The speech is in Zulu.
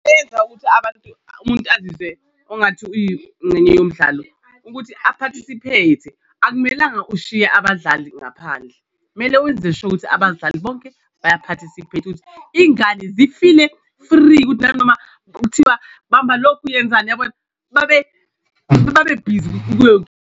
Eyenza ukuthi abantu umuntu azizwe ongathi uyincenye yomdlalo ukuthi a-participate-e, akumelanga ushiye abadlali ngaphandle kumele wenze sure ukuthi abadlali bonke baya-participate-a ukuthi iy'ngane zifile free ukuthi nanoma kuthiwa bamba lokhu yenzani uyabona, babe babe bhizi kuyo .